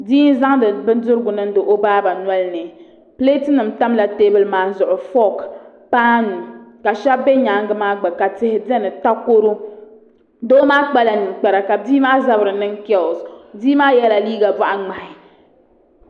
Bia n zaŋdi bindirigu niŋdi o baaba noli ni pileet nim tamla teebuli maa zuɣu fook paanu ka shab bɛ nyaangi maa gba ka tihi biɛni takoro doo maa kpala ninkpara ka bia maa zabiri niŋ keels bia maa yɛla liiga boɣa ŋmahi